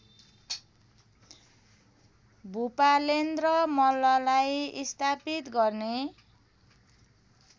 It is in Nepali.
भुपालेन्द्र मल्ललाई स्थापित गर्ने